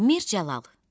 Mir Cəlal.